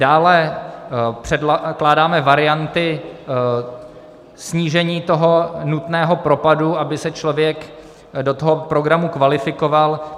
Dále předkládáme varianty snížení tohoto nutného propadu, aby se člověk do toho programu kvalifikoval.